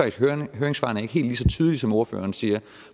ikke høringssvarene er helt så tydelige som ordføreren siger